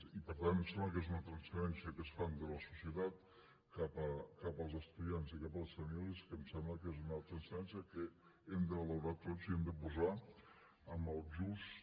i per tant em sembla que és una transferència que es fa de la societat cap als estudiants i cap a les famílies que em sembla que és una transferència que hem de valorar tots i hem de posar en el just